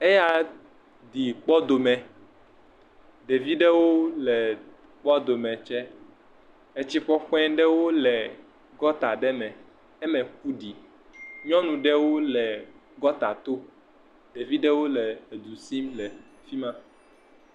Eya ɖi kpɔdomi, ɖevi ɖewo le kpɔdomie tsɛ. Etsi ƒaƒã aɖewo le gɔta aɖe me. Eme ƒo ɖi. Nyɔnu ɖewo le gɔta to. Ɖevi ɖewo le du sim le fi ma.